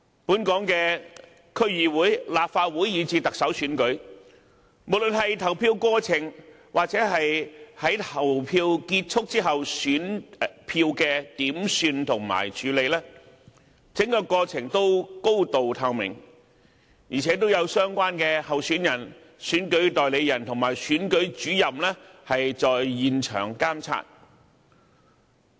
本港的區議會、立法會，以至特首選舉，無論是投票過程或在投票結束後選票的點算和處理，整個過程都高度透明，而且都有相關候選人、選舉代理人和選舉主任在現場監察。